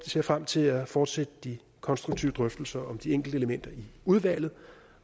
ser frem til at fortsætte de konstruktive drøftelser om de enkelte elementer i udvalget